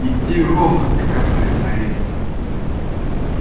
идти ровно приказывает наездник